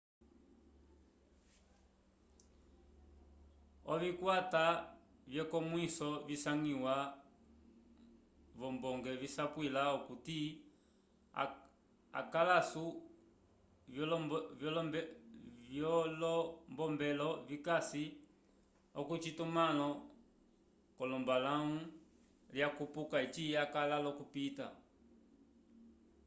ovikwata vyekonmwiso visangiwa v'ombonge visapwila okuti akãlu vyolombombelo vikasi k'ocitumãlo c'olombalãwu lyakupuka eci akala l'okupita